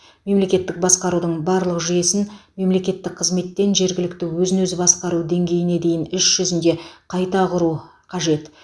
мемлекеттік басқарудың барлық жүйесін мемлекеттік қызметтен жергілікті өзін өзі басқару деңгейіне дейін іс жүзінде қайта құру қажет